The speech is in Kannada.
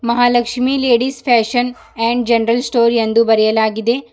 Mahalakshmi ladies fashion and general store ಎಂದು ಬರೆಯಲಾಗಿದೆ.